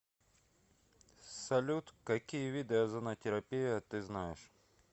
салют какие виды озонотерапия ты знаешь